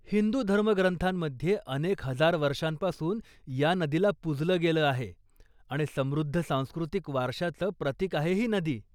हिंदू धर्मग्रंथांमध्ये अनेक हजार वर्षांपासून ह्या नदीला पूजलं गेलं आहे आणि समृद्ध सांस्कृतिक वारशाचं प्रतिक आहे ही नदी.